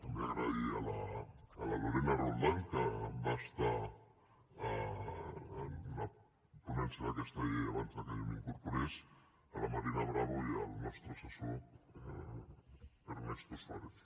també donar les gràcies a la lorena roldán que va estar en la ponència d’aquesta llei abans que jo m’hi incorporés a la marina bravo i al nostre assessor ernesto suárez